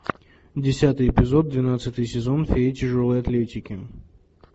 десятый эпизод двенадцатый сезон фея тяжелой атлетики